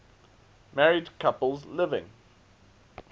married couples living